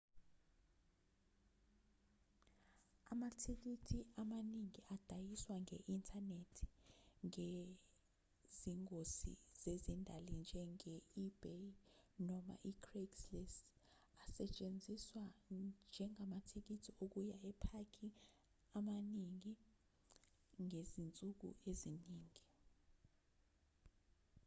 amathikithi amaningi adayiswa nge-inthanethi ngezingosi zezindali njenge-ebay noma i-craigslist asatshenziswa njengamathikithi okuya emapaki amaningi ngezinsuku eziningi